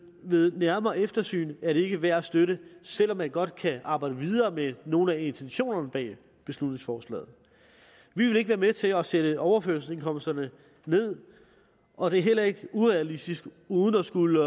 ved nærmere eftersyn er det ikke værd at støtte selv om man godt kan arbejde videre med nogle af intentionerne bag beslutningsforslaget vi vil ikke være med til at sætte overførselsindkomsterne ned og det er heller ikke realistisk uden at skulle